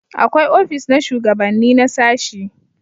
akwai ofis na shugabanni na sashi